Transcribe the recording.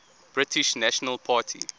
british national party